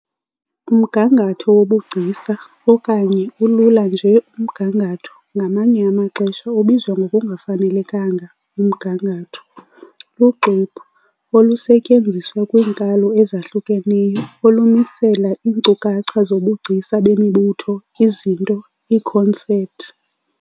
Umgangatho wobugcisa, okanye ulula nje umgangatho, ngamanye amaxesha ubizwa ngokungafanelekanga "umgangatho", luxwebhu, olusetyenziswa kwiinkalo ezahlukeneyo, olumisela iinkcukacha zobugcisa bemibutho, izinto, iikhonsepthi.